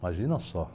Imagina só.